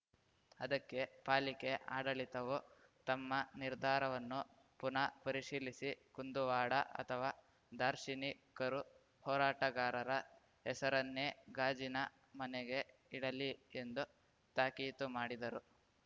ಅದಕ್ಕೆ ಪಾಲಿಕೆ ಆಡಳಿತವು ತಮ್ಮ ನಿರ್ಧಾರವನ್ನು ಪುನಾ ಪರಿಶೀಲಿಸಿ ಕುಂದುವಾಡ ಅಥವಾ ದಾರ್ಶನಿಕರು ಹೋರಾಟಗಾರರ ಹೆಸರನ್ನೇ ಗಾಜಿನ ಮನೆಗೆ ಇಡಲಿ ಎಂದು ತಾಕೀತು ಮಾಡಿದರು